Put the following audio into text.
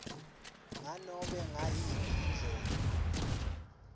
nganobe ngayiphi indlela